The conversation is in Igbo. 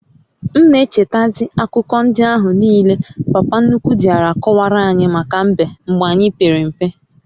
m n'echeta zi akuko ndi ahu niile papa nnukwu diara akowaranyi maka mbe mgbe anyi pere mpe